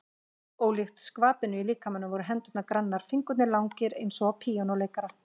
Ólíkt skvapinu á líkamanum voru hendurnar grannar, fingurnir langir eins og á píanóleikara.